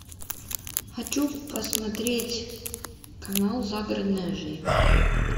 хочу посмотреть канал загородная жизнь